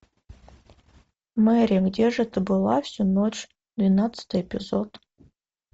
мэри где же ты была всю ночь двенадцатый эпизод